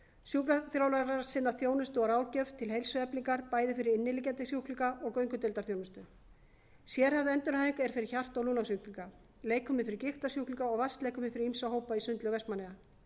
sjúkraþjálfarar sinna þjónustu og ráðgjöf til heilsueflingar bæði fyrir inniliggjandi sjúklinga og göngudeildarþjónustu sérhæfð endurhæfing er fyrir hjarta og lungnasjúklinga leikfimi fyrir gigtarsjúklinga og vatnsleikfimi fyrir ýmsa hópa í sundlaug vestmannaeyja